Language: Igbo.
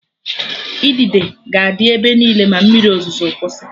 Idide ga-adị ebe niile ma mmiri ozuzo kwụsị